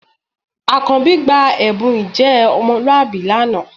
Àkànjí gba ẹ̀bùn ìjẹ́ ọmọlúwàbí lánàá